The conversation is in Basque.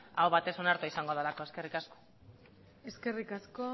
aho batez onartua izango delako eskerrik asko eskerrik asko